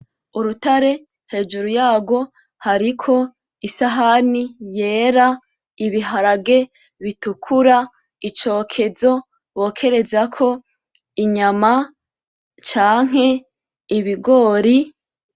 Urutare, hejuru yarwo hariko isahani yera, ibiharage bitukura ,icokezo ,bokerezako inyama, canke ibigori,